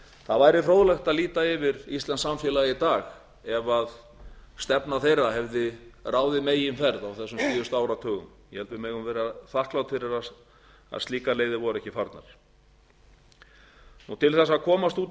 það væri fróðlegt að líta fyrr íslenskt samfélag í dag ef stefna þeirra hefði ráðið meginferð á þessum síðuatu áratugum ég held að við megum vera þakklát fyrir að slíkar leiðir voru ekki farnar til þess að komast út